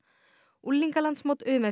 unglingalandsmót u m f